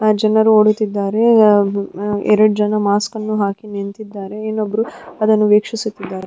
ಆ ಜನರು ಓಡುತ್ತಿದ್ದಾರೆ ಎರಡು ಜನ ಮಾಸ್ಕನ್ನು ಹಾಕಿ ನಿಂತಿದ್ದಾರೆ ಇನ್ನೊಬ್ಬರು ಅದನ್ನು ವೀಕ್ಷಿಸುತ್ತಿದ್ದಾರೆ.